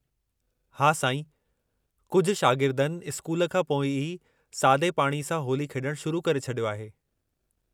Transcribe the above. हा साईं, कुझु शागिर्दनि स्कूल खां पोइ ई सादे पाणी सां होली खेॾणु शुरू करे छॾियो आहे।